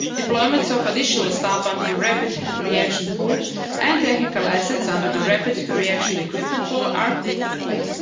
the land border. Deployments of additional staff under the rapid reaction pool, and technical assets under the rapid reaction equipment pool,